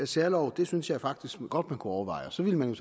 særlov synes jeg faktisk godt man kunne overveje og så ville man